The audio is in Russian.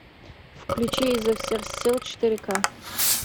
включи изо всех сил четыре ка